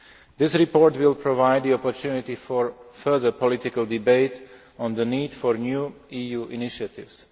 This report will provide the opportunity for further political debate on the need for new EU initiatives.